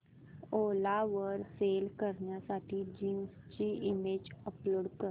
ओला वर सेल करण्यासाठी जीन्स ची इमेज अपलोड कर